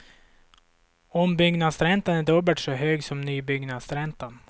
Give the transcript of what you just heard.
Ombyggnadsräntan är dubbelt så hög som nybyggnadsräntan.